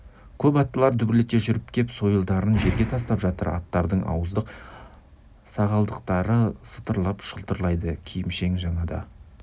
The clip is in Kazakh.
көп аттылар дүбірлете жүріп кеп сойылдарын жерге тастап жатыр аттардың ауыздық сағалдырықтары сытырлап шылдырайды киімшең жаңада